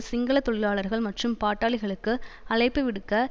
சிங்கள தொழிலாளர்கள் மற்றும் பாட்டாளிகளுக்கு அழைப்புவிடுக்க